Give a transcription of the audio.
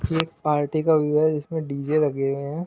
ये एक पार्टी का व्यू है जिसमें डी_जे लगे हुए हैं।